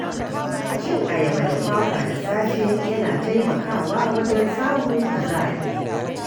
Cin ayaba da kwakwa da safe yana taimakawa wajen samun kuzari.